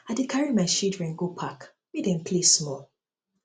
i go dey carry my children go park make dem play um small